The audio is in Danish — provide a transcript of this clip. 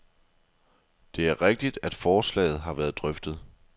Det er rigtigt, at forslaget har været drøftet.